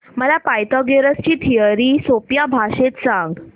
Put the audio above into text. मला पायथागोरस ची थिअरी सोप्या भाषेत सांग